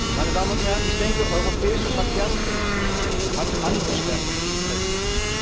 Meine Damen und Herren, ich denke, europäische Verkehrspolitik hat andere Schwerpunkte verdient.